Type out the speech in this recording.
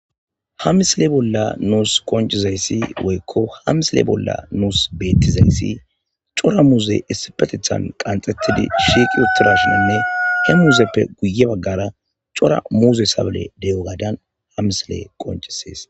ha misile bolla nuus koncizayssi woykko ha misile bolla nuus beettizayssi cora muuze issipetethan qanxettidi shiiqi utirashinanne he muuzeppe guye baggara cora muuze sable deyo gaadan ha misile qoncisees